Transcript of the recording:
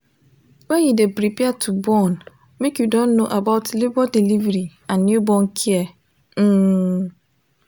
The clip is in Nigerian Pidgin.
when you de prepare to born make you don know about labor delivery and newborn care um